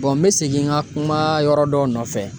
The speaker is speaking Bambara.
n mi segin n ka kuma yɔrɔ dɔ nɔfɛ